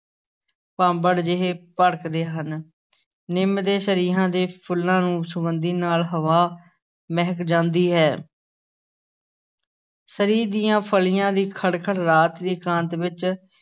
ਭਾਂਬੜ ਜਿਹੇ ਭੜਕਦੇ ਹਨ, ਨਿੰਮ ਤੇ ਸ਼ਰੀਹਾਂ ਦੇ ਫੁੱਲਾਂ ਨੂੰ ਸੁਗੰਧੀ ਨਾਲ ਹਵਾ ਮਹਿਕ ਜਾਂਦੀ ਹੈ ਸ਼ਰੀਂਹ ਦੀਆਂ ਫਲੀਆਂ ਦੀ ਖੜ-ਖੜ ਰਾਤ ਦੀ ਇਕਾਂਤ ਵਿਚ